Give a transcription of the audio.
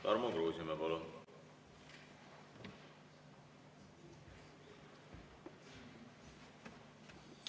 Tarmo Kruusimäe, palun!